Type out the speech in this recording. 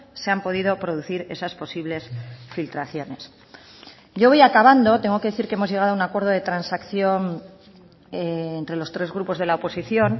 se han podido producir esas posibles filtraciones yo voy acabando tengo que decir que hemos llegado a un acuerdo de transacción entre los tres grupos de la oposición